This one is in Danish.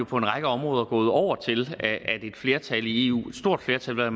på en række områder gået over til at et flertal i eu et stort flertal vel at